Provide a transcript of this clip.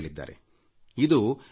ಇದರ ಅರ್ಥ ಇನ್ನೊಬ್ಬರೊಂದಿಗೆ ಸ್ಪರ್ಧೆ